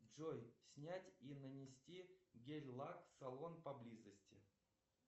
джой снять и нанести гель лак салон поблизости